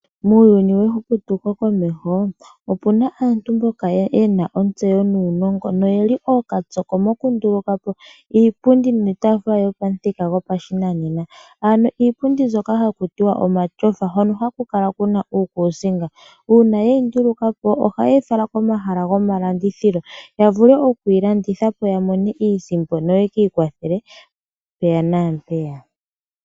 Muuyuni wehumo komeho ope na aantu mboka ye na ontseyo nuunongo ye li ookatsoko mokunduluka po iitaafula niipundi yopamuthika gopashinanena ano iipundi ndyoka hakutiwa omatyofa hoka haku kala kuna uukuusinga. Uuna ye yi nduluka po ohaye yi fala komahala gomalandithilo ya vule okuyi landitha po ya mone iisimpo noyeki ikwathele mpaka nampeyaka.